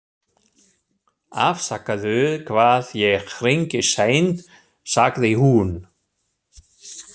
Afsakaðu hvað ég hringi seint, sagði hún.